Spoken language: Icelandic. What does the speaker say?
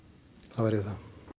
það væri þar